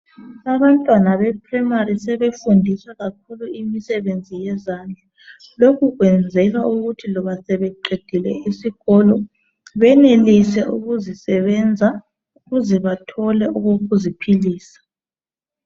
Abantwana be primary sebefundiswa kakhulu imisebenzi wezandla lokhu kwenzelwa ukuthi loba sebeqedile iskolo benelise ukuzisebenza ukuze bathole ukuziphilisa.